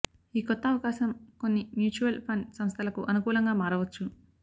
ఈ కొత్త అవకాశం కొన్ని మ్యూచువల్ ఫండ్ సంస్థలకు అనుకూలంగా మారవచ్చు